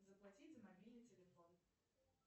заплатить за мобильный телефон